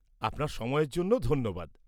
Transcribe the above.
আপনার সময়ের জন্য ধন্যবাদ।